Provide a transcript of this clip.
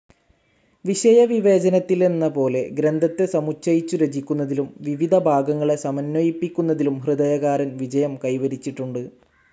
വിഷയവിവേചനത്തിലെന്നപോലെ, ഗ്രന്ഥത്തെ സമുച്ചയച്ചു രചിക്കുന്നതിലും വിവിധ ഭാഗങ്ങളെ സമന്വയിപ്പിക്കുന്നതിലും ഹൃദയകാരൻ വിജയം കൈവരിച്ചിട്ടുണ്ട്.